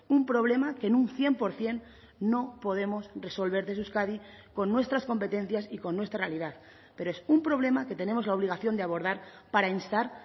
un problema que en un cien por ciento no podemos resolver desde euskadi con nuestras competencias y con nuestra realidad pero es un problema que tenemos la obligación de abordar para instar